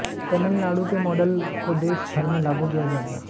तमिलनाडु के मॉडल को देश भर में लागू किया जाएगा